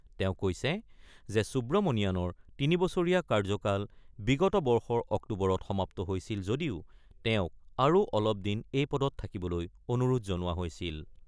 তেওঁ কৈছে যে, সুব্ৰমণিয়াণৰ তিনিবছৰীয়া কাৰ্য্যকাল বিগত বৰ্ষৰ অক্টোবৰত সমাপ্ত হৈছিল যদিও তেওঁক আৰু অলপ দিন এই পদত থাকিবলৈ অনুৰোধ জনোৱা হৈছিল।